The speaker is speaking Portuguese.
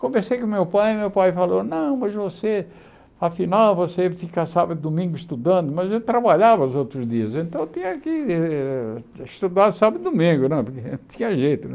Conversei com meu pai, meu pai falou, não, mas você, afinal, você fica sábado e domingo estudando, mas eu trabalhava os outros dias, então eu tinha que eh estudar sábado e domingo, não, porque não tinha jeito, né?